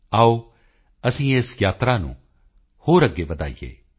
ਆਓ ਅਸੀਂ ਇਸ ਯਾਤਰਾ ਨੂੰ ਹੋਰ ਅੱਗੇ ਵਧਾਈਏ